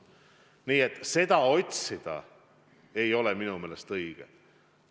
Nii et põhjust muust otsida ei ole minu meelest õige.